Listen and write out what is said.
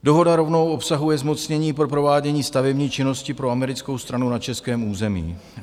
Dohoda rovnou obsahuje zmocnění pro provádění stavební činnosti pro americkou stranu na českém území.